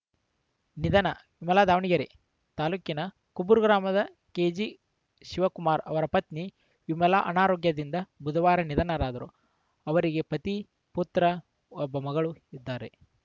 ನಿಧನ ಮಲಾ ದಾವಣಗೆರೆ ತಾಲೂಕಿನ ಕಬ್ಬೂರು ಗ್ರಾಮದ ಕೆಜಿ ಶಿವಕುಮಾರ್‌ ಅವರ ಪತ್ನಿ ವಿಮಲಾ ಅನಾರೋಗ್ಯದಿಂದಾಗಿ ಬುಧವಾರ ನಿಧನರಾದರು ಅವರಿಗೆ ಪತಿ ಪುತ್ರ ಒಬ್ಬ ಮಗಳು ಇದ್ದಾರೆ